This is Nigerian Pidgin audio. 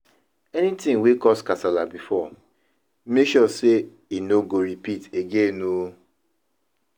anytin wey cause kasala bifor mek sure sey e no ripit again o